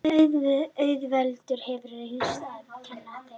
Auðvelt hefur reynst að kenna þeim.